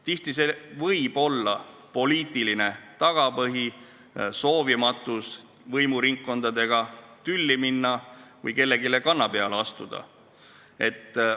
Tihti võib seal olla poliitiline tagapõhi, soovimatus võimuringkondadega tülli minna või kellelegi kanna peale astuda.